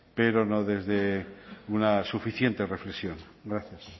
pero no desde una suficientes reflexión gracias